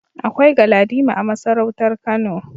Akwai Galadima a masarautar Kano.